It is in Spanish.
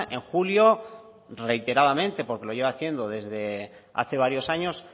en julio reiteradamente porque lo lleva haciendo desde hace varios años